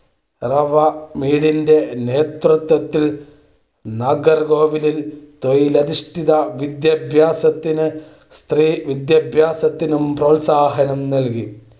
റവ. മേഡ്ന്റെ നേതൃത്വത്തിൽ നാഗർകോവിലിൽ തൊഴിലധിഷ്ഠിത വിദ്യാഭ്യാസത്തിനും സ്ത്രീവിദ്യാഭ്യാസത്തിനും പ്രോത്സാഹനം നൽകി